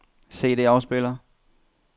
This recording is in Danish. CD-afspiller